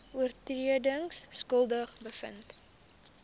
oortredings skuldig bevind